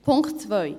Punkt 2